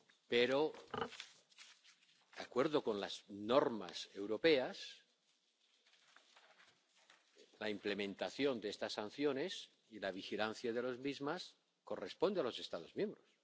Pero, de acuerdo con las normas europeas, la implementación de estas sanciones y la vigilancia de las mismas corresponde a los Estados miembros.